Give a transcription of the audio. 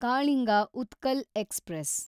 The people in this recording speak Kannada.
ಕಾಳಿಂಗ ಉತ್ಕಲ್ ಎಕ್ಸ್‌ಪ್ರೆಸ್